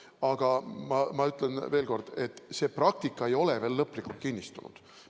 Aga ma ütlen veel kord, et praktika ei ole veel lõplikult kinnistunud.